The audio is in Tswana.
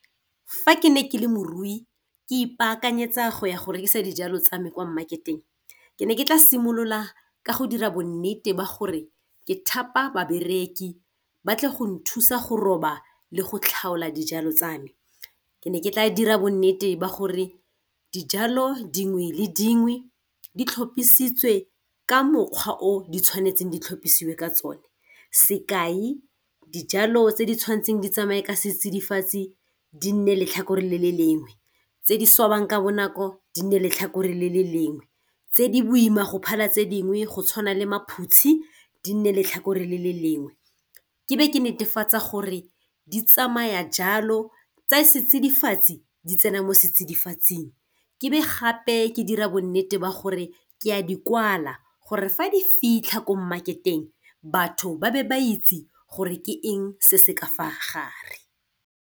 Fa ke ne ke le morui ke ipaakanyetsa go ya go rekisa dijalo tsa me kwa mmaketeng ke ne ke tla simolola ka go dira bonnete ba gore ke thapa babereki ba tle go nthusa go roba le go tlhaola dijalo tsa me. Ke ne ke tla dira bonnete ba gore dijalo dingwe le dingwe di tlhopiisitswe ka mokgwa o di tshwanetseng di tlhopisiwa ka tsone, sekai dijalo tse di tshwanetseng di tsamaye ka setsidifatsi di nne letlhakore le le lengwe tse di swabang ka bonako di ne letlhakore le le lengwe tse di boima go phala tse dingwe go tshwana le maphutshi di nne letlhakore le le lengwe. Ke be ke netefatsa gore di tsamaya jalo tsa setsidifatsi di tsena mo setsidifatsing. Ke be gape ke dira bonnete ba gore ke a dikwala gore fa di fitlha ko mmaketeng batho ba be ba itse gore ke eng se se ka fa gare.